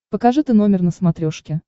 покажи ты номер на смотрешке